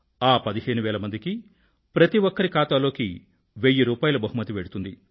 ఆ పదిహేను వేల మందికీ ప్రతి ఒక్కరి ఖాతా లోకీ వెయ్యి రూపాయిల బహుమతి వెళ్తుంది